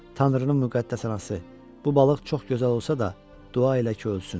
Tanrının müqəddəs anası, bu balıq çox gözəl olsa da dua elə ki ölsün.